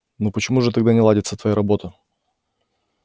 но почему же тогда не ладится твоя работа